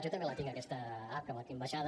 jo també la tinc aquesta app que la tinc baixada